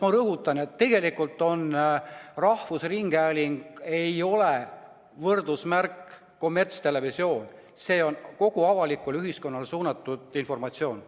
Ma rõhutan, et tegelikult rahvusringhääling ei võrdu kommertstelevisiooniga, vaid ta edastab kogu avalikule ühiskonnale suunatud informatsiooni.